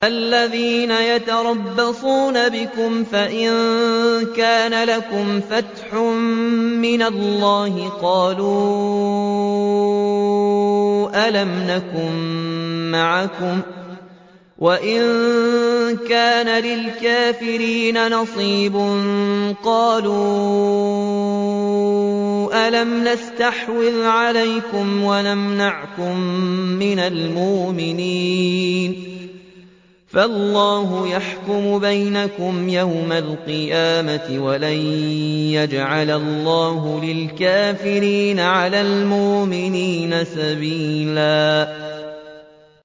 الَّذِينَ يَتَرَبَّصُونَ بِكُمْ فَإِن كَانَ لَكُمْ فَتْحٌ مِّنَ اللَّهِ قَالُوا أَلَمْ نَكُن مَّعَكُمْ وَإِن كَانَ لِلْكَافِرِينَ نَصِيبٌ قَالُوا أَلَمْ نَسْتَحْوِذْ عَلَيْكُمْ وَنَمْنَعْكُم مِّنَ الْمُؤْمِنِينَ ۚ فَاللَّهُ يَحْكُمُ بَيْنَكُمْ يَوْمَ الْقِيَامَةِ ۗ وَلَن يَجْعَلَ اللَّهُ لِلْكَافِرِينَ عَلَى الْمُؤْمِنِينَ سَبِيلًا